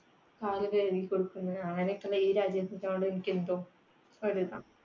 കാലുകഴുകി കൊടുക്കുന്ന്. അങ്ങിനെയൊക്കെയുള്ള ഈ രാജ്യത്തിനോട് എനിക്കെന്തോ ഒരു ഇതാ